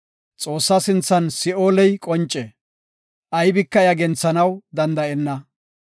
Xoossa sinthan Si7ooley qonce; aybika iya genthanaw danda7enna.